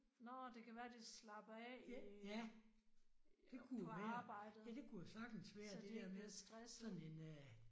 Nåh det kan være de slapper af i på arbejdet så de ikke bliver stresset